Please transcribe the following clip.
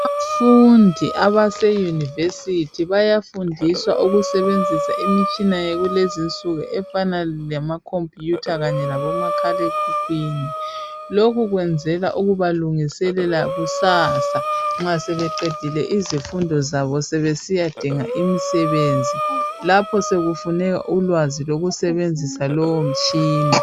Abafundi abase university bayafundiswa ukusebenzisa imitshina yakulezi insuku efana lamacomputer, kanye labomakhale khukhwini. Lokhu kwenzelwa ukuba lungiselela kusasa, nxa sebeqedile izifundo zabo. Sebesiyadinga imisebenzi. Lapho sekufun3ka ulwazi lokusebenzisa lowomtshina.